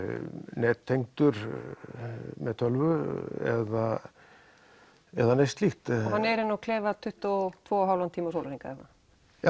nettengdur með tölvu eða eða neitt slíkt hann er inni á klefa tuttugu og tvo og hálfan tíma á sólahring eða